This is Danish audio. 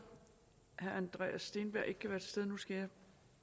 herre andreas steenberg ikke kan være til stede skal jeg